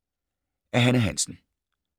Af Hanne Hansen